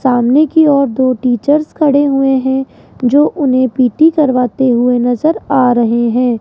सामने कि ओर दो टीचर्स खड़े हुए हैं जो उन्हें पी टी करवाते हुए नजर आ रहे हैं।